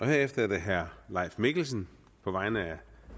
herefter er det herre leif mikkelsen på vegne af